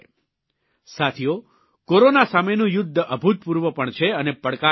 સાથીઓ કોરોના સામેનું યુદ્ધ અભૂતપૂર્વ પણ છે અને પડકારજનક પણ